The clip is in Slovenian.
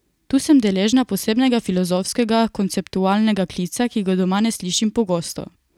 Tu sem deležna posebnega filozofskega, konceptualnega klica, ki ga doma ne slišim pogosto.